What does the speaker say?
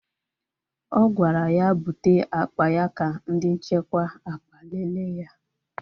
O gwara ya bute akpa ya ka ndị nchekwa akpa lele ya!